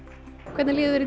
hvernig líður